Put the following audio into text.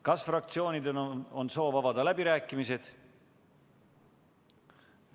Kas fraktsioonidel on soov avada läbirääkimised?